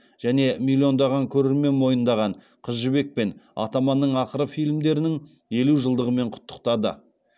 және миллиондаған көрермен мойындаған қыз жібек пен атаманның ақыры фильмдерінің елу жылдығымен құттықтады